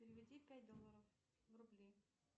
переведи пять долларов в рубли